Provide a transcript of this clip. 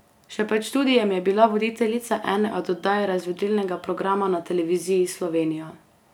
Še pred študijem je bila voditeljica ene od oddaj razvedrilnega programa na Televiziji Slovenija.